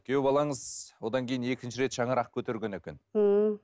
күйеу балаңыз одан кейін екінші рет шаңырақ көтерген екен ммм